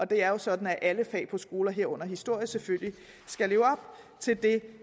det er jo sådan at alle fag på skoler herunder historie selvfølgelig skal leve op til det